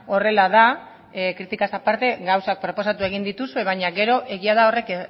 horrela da kritikaz aparte gauzak proposatu dituzue baina gero egia da horrek